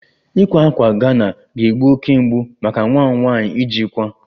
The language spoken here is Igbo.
Ịkpa ákwà Ghana ga-egbu oke mgbu maka nwa m nwanyị ijikwa